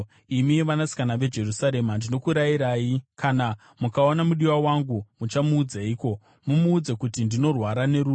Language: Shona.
Imi vanasikana veJerusarema, ndinokurayirai, kana mukaona mudiwa wangu, muchamuudzeiko? Mumuudze kuti ndinorwara nerudo.